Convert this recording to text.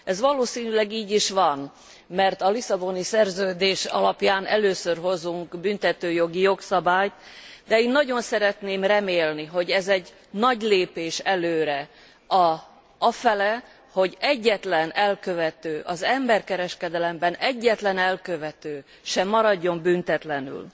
Ez valószínűleg így is van, mert a Lisszaboni Szerződés alapján először hozunk büntetőjogi jogszabályt, de én nagyon szeretném remélni, hogy ez egy nagy lépés előre afelé, hogy egyetlen elkövető, az emberkereskedelemben egyetlen elkövető se maradjon büntetlenül.